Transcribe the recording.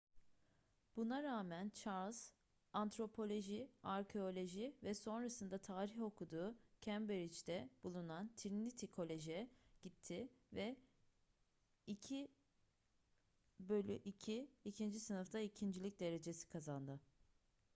buna rağmen charles; antropoloji arkeoloji ve sonrasında tarih okuduğu cambridge'de bulunan trinity college'a gitti ve 2:2 2. sınıfta ikincilik derecesi kazandı